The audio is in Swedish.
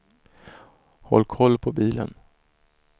Håll koll på bilen.